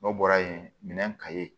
N'o bɔra yen minɛn ka ye